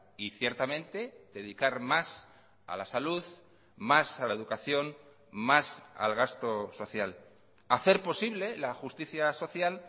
y ciertamente dedicar más a la salud más a la educación más al gasto social hacer posible la justicia social